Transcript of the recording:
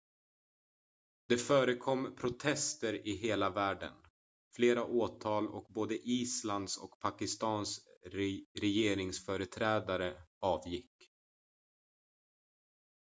det förekom protester i hela världen flera åtal och både islands och pakistans regeringsföreträdare avgick